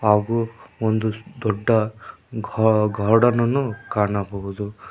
ಹಾಗೂ ಒಂದು ದೊಡ್ಡ ಗಾ ಗಾರ್ಡನ್ ಅನ್ನು ಕಾಣಬಹುದು.